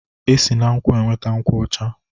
E si na nkwụ enweta nkwụ ọcha.